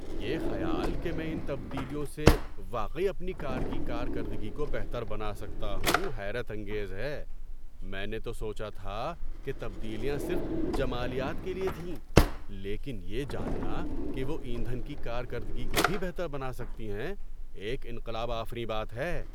‏یہ خیال کہ میں ان تبدیلیوں سے واقعی اپنی کار کی کارکردگی کو بہتر بنا سکتا ہوں حیرت انگیز ہے۔ میں نے تو سوچا تھا کہ تبدیلیاں صرف جمالیات کے لیے تھیں، لیکن یہ جاننا کہ وہ ایندھن کی کارکردگی کو بھی بہتر بنا سکتی ہیں، ایک انقلاب آفریں بات ہے۔